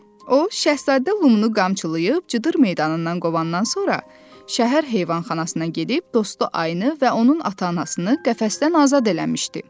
O, Şahzadə Lumu qamçılayıb cıdır meydanından qovandan sonra şəhər heyvanxanasına gedib dostu Ayını və onun ata-anasını qəfəsdən azad eləmişdi.